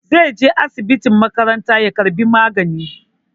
Zai je asibitin makaranta ya karɓi magani.